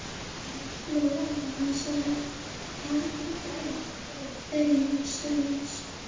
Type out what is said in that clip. Lóa en svaraði: Ég held nokkurn veginn sönsum.